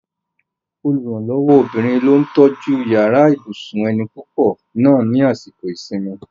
Olùrànlọ́wọ́ obìnrin ló tọ́jú yàrá ibùsùn ẹni púpọ̀ náà ni àsìkò ìsinmi